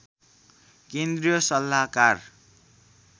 केन्द्रीय सल्लाहकार